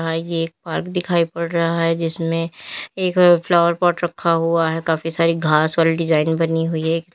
और यह एक पार्क दिखाई पड़ रहा है जिसमें एक फ्लावर पॉट रखा हुआ है काफी सारी घास वाली डिजाइने बनी हुई है।